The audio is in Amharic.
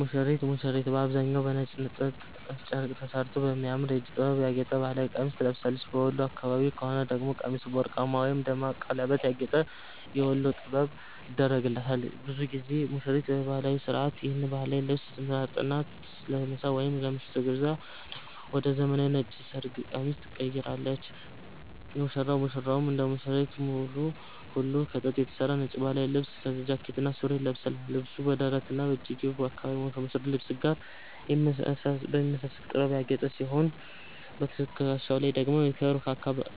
ሙሽሪት፦ ሙሽሪት በአብዛኛው በነጭ የጥጥ ጨርቅ ተሠርቶ በሚያምር የእጅ ጥበብ ያጌጠ ባህላዊ ቀሚስ ትለብሳለች። በወሎ አካባቢ ከሆነ ደግሞ ቀሚሱ በወርቅማ ወይም ደማቅ በቀለማት ያጌጠ "የወሎ ጥበብ" ይደረግላታል። ብዙ ጊዜ ሙሽሪት ለባህላዊው ሥርዓት ይህን ባህላዊ ልብስ ትመርጥና፣ ለምሳ ወይም ለምሽቱ ግብዣ ደግሞ ወደ ዘመናዊው ነጭ የሰርግ ቀሚስ ትቀይራለች። ሙሽራው፦ ሙሽራውም እንደ ሙሽሪት ሁሉ ከጥጥ የተሠራ ነጭ ባህላዊ ልብስ (ጃኬትና ሱሪ) ይለብሳል። ልብሱ በደረትና በእጅጌው አካባቢ ከሙሽሪት ልብስ ጋር በሚመሳሰል ጥበብ ያጌጠ ሲሆን፣ በትከሻው ላይ ደግሞ የክብር